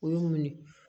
U y'u minɛ